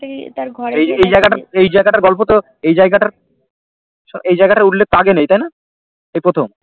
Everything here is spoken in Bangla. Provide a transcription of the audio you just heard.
এই জায়গাটা এই জায়গাটার গল্প তো এই জায়গাটা এই জায়গাটার উল্লেখ তো আগে নেই তাইনা এই প্রথম